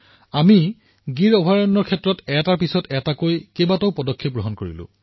আমি এটাৰ পিছত এটাকৈ পদক্ষেপ গ্ৰহণ কৰিলো